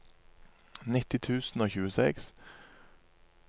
nitti tusen og tjueseks